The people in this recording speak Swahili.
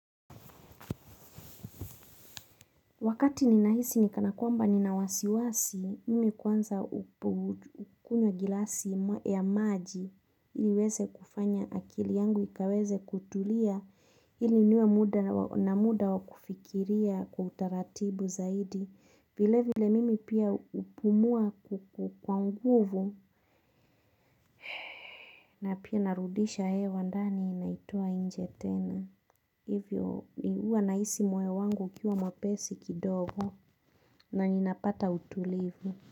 Wakati ninahisi kana kwamba nina wasiwasi, mimi kwanza hukunywa glasi ya maji. Niweze kufanya akili yangu, ikaweze kutulia ili niwe na muda wa kufikiria kwa utaratibu zaidi. Vile vile mimi pia hupumua kwa nguvu na pia narudisha hewa ndani naitoa nje tena. Hivyo ni huwa nahisi moyo wangu ukiwa mwepesi kidogo. Na ninapata utulivu.